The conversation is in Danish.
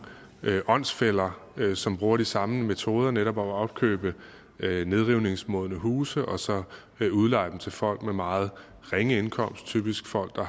åndsfæller som bruger de samme metoder netop at opkøbe nedrivningsmodne huse og så udleje dem til folk med meget ringe indkomst typisk folk der